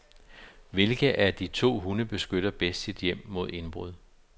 Hvilken af de to hunde beskytter bedst sit hjem mod indbrud.